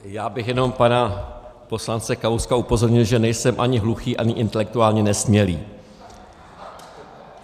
Já bych jenom pana poslance Kalouska upozornil, že nejsem ani hluchý, ani intelektuálně nesmělý.